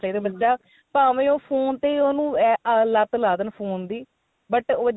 ਚਾਹਿਦਾ ਬੱਚਾ ਭਾਵੇ ਉਹ phone ਤੇ ਈ ਉਨੂੰ ਲੱਤ ਲਾ ਦੇਣ phone ਦੀ but ਉਹ